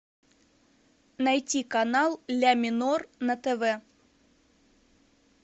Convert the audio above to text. найти канал ля минор на тв